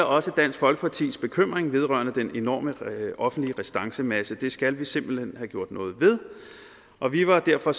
også dansk folkepartis bekymring vedrørende den enorme offentlige restancemasse det skal vi simpelt hen have gjort noget ved og vi var derfor